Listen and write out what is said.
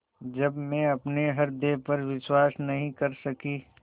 जब मैं अपने हृदय पर विश्वास नहीं कर सकी